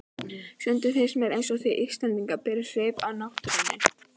Stundum finnst mér einsog þið Íslendingar berið svip af náttúrunni.